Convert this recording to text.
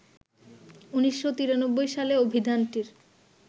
১৯৯৩ সালে অভিধানটির